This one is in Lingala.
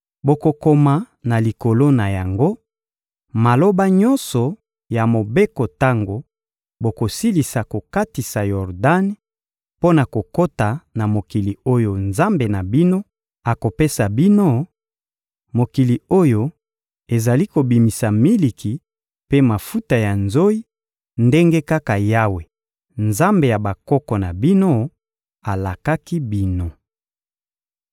Bokokoma na likolo na yango, maloba nyonso ya mobeko tango bokosilisa kokatisa Yordani mpo na kokota na mokili oyo Nzambe na bino akopesa bino, mokili oyo ezali kobimisa miliki mpe mafuta ya nzoyi, ndenge kaka Yawe, Nzambe ya bakoko na bino, alakaki bino.